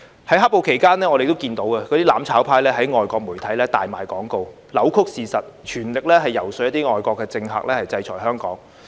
在"黑暴"期間，我們看到"攬炒派"在外國媒體大賣廣告，扭曲事實，全力遊說一些外國政客制裁香港。